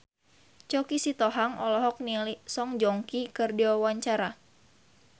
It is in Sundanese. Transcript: Choky Sitohang olohok ningali Song Joong Ki keur diwawancara